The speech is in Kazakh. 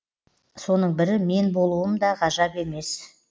соның бірі мен болуым да ғажап емес